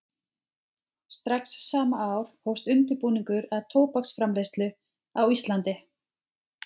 Strax sama ár hófst undirbúningur að tóbaksframleiðslu á Íslandi.